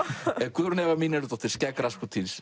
Guðrún Eva Mínervudóttir skegg